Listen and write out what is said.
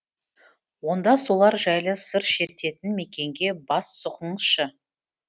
онда солар жайлы сыр шертетін мекенге бас сұғыңызшы